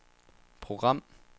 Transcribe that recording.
program